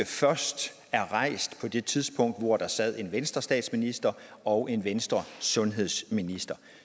først er rejst på det tidspunkt hvor der sad en venstrestatsminister og en venstresundhedsminister